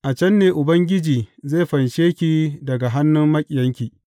A can ne Ubangiji zai fanshe ki daga hannun maƙiyanki.